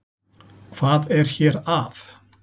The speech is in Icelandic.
Hvað er hér að?